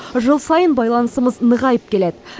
жыл сайын байланысымыз нығайып келеді